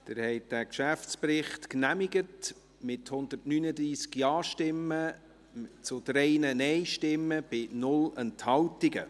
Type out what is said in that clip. Sie haben diesen Geschäftsbericht genehmigt, mit 139 Ja- zu 3 Nein-Stimmen bei 0 Enthaltungen.